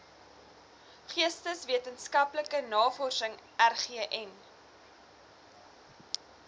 geesteswetenskaplike navorsing rgn